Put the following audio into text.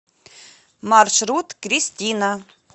маршрут кристина